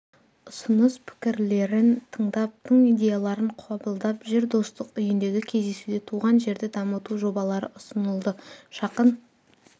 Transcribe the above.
ұсыныс-пікірлерін тыңдап тың идеяларын қабылдап жүр достық үйіндегі кездесуде туған жерді дамыту жобалары ұсынылды жақын